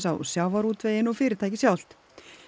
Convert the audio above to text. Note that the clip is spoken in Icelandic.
á sjávarútveginn og fyrirtækið sjálft